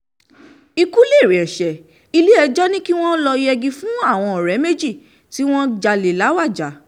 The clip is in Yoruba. ikú lérè ẹsẹ̀ ilé-ẹjọ́ ni kí wọ́n lọ́ọ́ yẹgi fáwọn ọ̀rẹ́ méjì tí wọ́n jalè làwájá